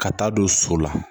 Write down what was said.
Ka taa don so la